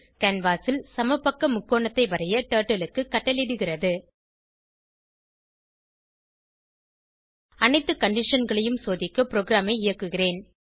canvas ல் சமபக்க முக்கோணத்தை வரைய டர்ட்டில் க்கு கட்டளையிடுகிறது அனைத்து conditionகளையும் சோதிக்க ப்ரோகிராமை இயக்குகிறேன்